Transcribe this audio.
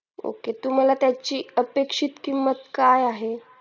okay तुम्हाला त्याची अपेक्षित किंमत काय आहे